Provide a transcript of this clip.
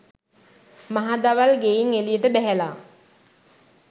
මහදවල් ගෙයින් එළියට බැහැලා